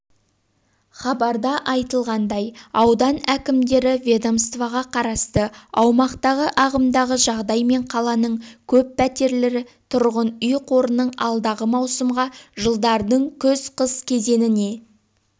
хабарда айтылғандай аудан әкімдері ведомствоға қарасты аумақтағы ағымдағы жағдай мен қаланың көп пәтерлі тұрғын үй қорының алдағы маусымға жылдардың күз-қыс кезеңіне